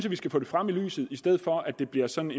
at vi skal få det frem i lyset i stedet for at det bliver sådan